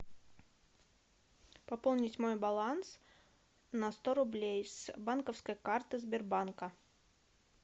пополнить мой баланс на сто рублей с банковской карты сбербанка